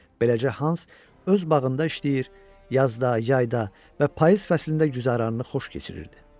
Beləcə Hans öz bağında işləyir, yazda, yayda və payız fəslində güzaranını xoş keçirirdi.